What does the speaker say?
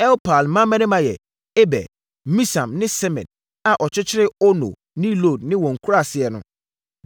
Elpaal mmammarima yɛ: Eber, Misam ne Semed a ɔkyekyeree Ono ne Lod ne wɔn nkuraaseɛ no,